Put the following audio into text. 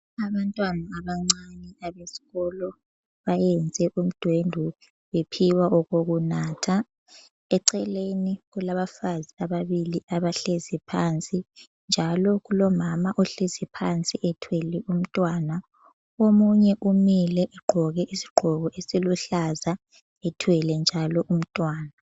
Abantwana abancane abesikolo bayenze udwendwe bephiwa okokunatha eceleni kulabafazi ababili abahlezi phansi njalo kulomama ohlezi phansi ethwele umntwana, omunye umile egqoke isigqoko esiluhlaza ethwele njalo umntwana.